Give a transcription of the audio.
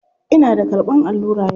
Ina da karɓan allura yau.